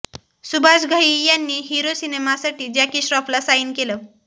सुभाष घई यांनी हिरो सिनेमासाठी जॅकी श्रॉफला साईन केलं